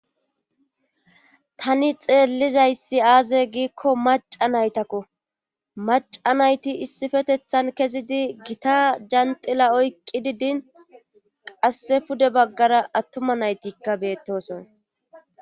Tani xeellizayssi aaze giikko maca naytakko maca nayti issifetethan kezidi gita janxila oyqqi didin qasse pude baggara attuma naytikka beettoson.